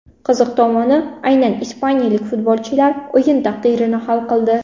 Qiziq tomoni, aynan ispaniyalik futbolchilar o‘yin taqdirini hal qildi.